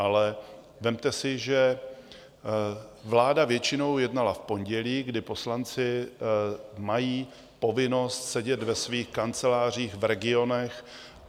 Ale vezměte si, že vláda většinou jednala v pondělí, kdy poslanci mají povinnost sedět ve svých kancelářích v regionech.